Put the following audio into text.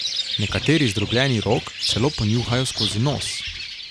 Nekateri zdrobljeni rog celo ponjuhajo skozi nos.